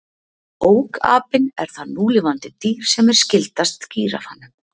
Ókapinn er það núlifandi dýr sem er skyldast gíraffanum.